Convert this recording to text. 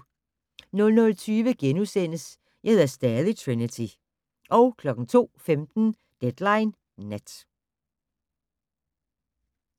00:20: Jeg hedder stadig Trinity * 02:15: Deadline Nat